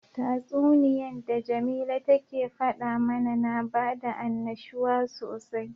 Tatsuniyan da jamila take fada mana na bada annashuwa sosai.